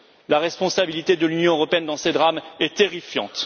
La responsabilité de l'Union européenne dans ces drames est terrifiante.